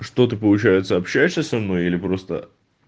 что ты получается общаешься со мной или просто